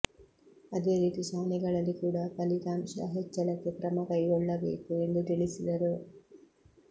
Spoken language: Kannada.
ಅದೇ ರೀತಿ ಶಾಲೆಗಳಲ್ಲಿ ಕೂಡ ಫಲಿತಾಂಶ ಹೆಚ್ಚಳಕ್ಕೆ ಕ್ರಮ ಕೈಗೊಳ್ಳಬೇಕು ಎಂದು ತಿಳಿಸಿದರು